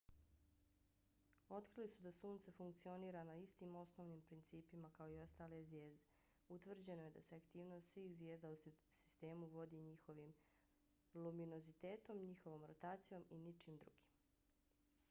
otkrili su da sunce funkcionira na istim osnovnim principima kao i ostale zvijezde. utvrđeno je da se aktivnost svih zvijezda u sistemu vodi njihovim luminozitetom njihovom rotacijom i ničim drugim